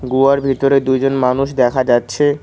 গুহার ভেতরে দুইজন মানুষ দেখা যাচ্ছে।